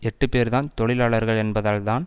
எட்டு பேர்தான் தொழிலாளர்கள் என்பதால்தான்